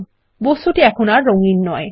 বস্তুটির এখন আর রঙিন নয়